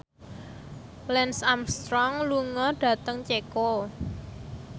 Lance Armstrong lunga dhateng Ceko